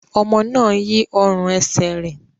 Ọmọ náà yí ọrùn ẹsẹ̀ rẹ̀.